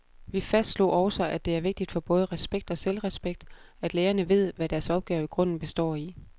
Vi fastslog også, at det er vigtigt for både respekt og selvrespekt, at lærerne ved, hvad deres opgave i grunden består i.